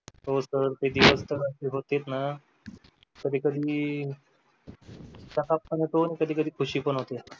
हो सर ते दिवस असे होते ना कधी कधी त्रास पण होतो कधी कधी ख़ुशी पण होते.